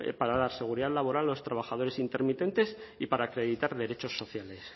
para la seguridad laboral de los trabajadores intermitentes y para acreditar derechos sociales